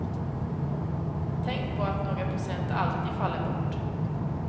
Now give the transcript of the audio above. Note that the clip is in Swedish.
Tänk på att några procent alltid faller bort.